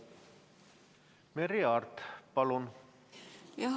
Merry Aart, palun!